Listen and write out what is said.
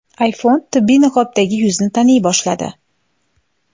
iPhone tibbiy niqobdagi yuzni taniy boshladi.